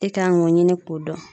E k'an k'o ɲini k'o dɔn.